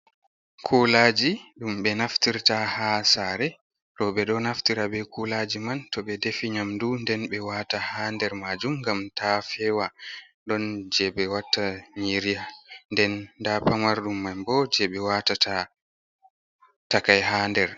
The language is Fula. "Kulaji" ɗum ɓe naftirta ha sare roɓe ɗo naftira be kulaji man to ɓe defi nyamdu nden ɓe waata ha nder majum ngam ta fewa. Ɗon je ɓe watta nyiri nden nda pamarɗum man bo je ɓe watata takai ha nder.